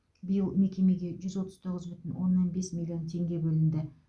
биыл мекемеге жүз отыз тоғыз бүтін оннан бес миллион теңге бөлінді